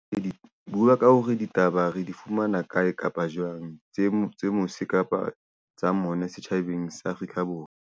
Re bua ka hore ditaba re di fumana kae kapa jwang? Tse mose kapa tsa mona setjhabeng sa Afrika Borwa.